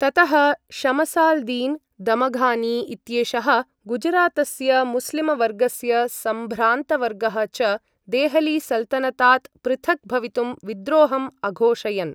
ततः शमसाल्दीन् दमघानी इत्येषः, गुजरातस्य मुस्लिम वर्गस्य सम्भ्रान्तवर्गः च, देहली सल्तनतात् पृथक् भवितुं विद्रोहम् अघोषयन्।